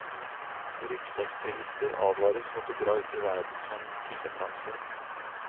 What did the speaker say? Ryggsekkturister advares mot å dra ut i verden som fillefranser.